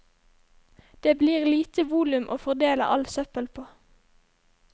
Det blir lite volum å fordele all søppel på.